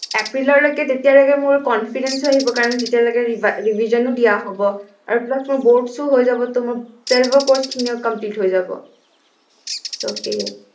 এপ্ৰিললৈকে তেতিয়ালৈকে মোৰ confidence ও আহিব কাৰন তেতিয়ালৈকে revise revision ও দিয়া হব আৰু plus মোৰ boards ও হৈ যাব মোৰ twelve ৰ course ৰ্খিনিও complete হৈ যাব so সেয়ে